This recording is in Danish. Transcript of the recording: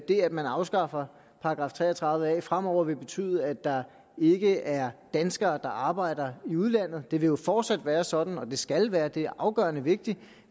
man afskaffer § tre og tredive a fremover vil betyde at der ikke er danskere der arbejder i udlandet det vil jo fortsat være sådan og det skal være det er afgørende vigtigt